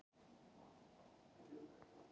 Hvað veldur storknun blóðs?